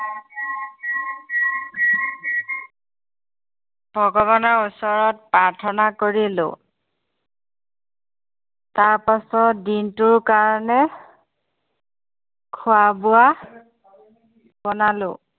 ভগৱানৰ ওচৰত প্ৰাৰ্থনা কৰিলো তাৰ পাছত দিনটোৰ কাৰণে খোৱা-বোৱা বনালোঁ